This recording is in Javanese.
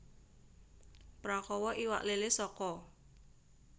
Prakawa iwak lélé saka